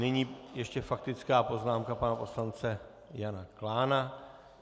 Nyní ještě faktická poznámka pana poslance Jana Klána.